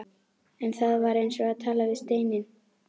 En það var eins og að tala við steininn.